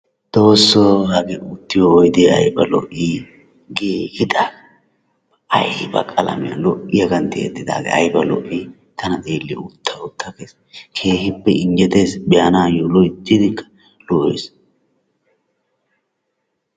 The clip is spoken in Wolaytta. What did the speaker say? Xoossoo, hagee uttiyo oydee ayba lo'ii giigidaagaa. ayba qalamee lo'iyagan tiyettidaagaa ayba lo'ii! Tana xeelliyode utta utta gees. Keehippe injjettees be'anaayyo loyttidi lo'ees.